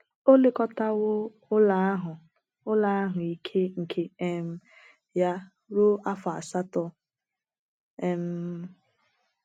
O elekọtawo ụlọ ahụ ụlọ ahụ ike nke um ya ruo afọ asatọ um.